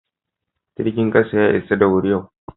Jirgin kasa ya isa da wuri yau.